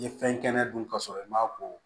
N ye fɛn kɛnɛ dun ka sɔrɔ i m'a ko